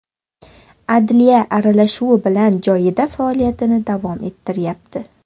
Adliya aralashuvi bilan joyida faoliyatini davom ettiryapti.